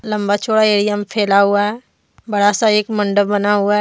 लंबा चौड़ा एरिया में फैला हुआ है बड़ा सा एक मंडप बना हुआ है।